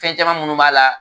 Fɛn caman minnu b'a la